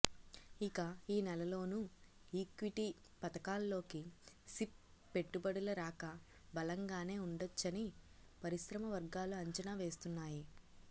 ఇక ఈ నెలలోనూ ఈక్విటీ పథకాల్లోకి సిప్ పెట్టుబడుల రాక బలంగానే ఉండొచ్చని పరిశ్రమ వర్గాలు అంచనా వేస్తున్నాయి